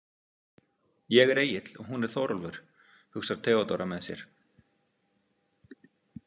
Ég er Egill og hún er Þórólfur, hugsar Theodóra með sér.